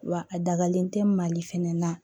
Wa a dagalen tɛ mali fɛnɛ na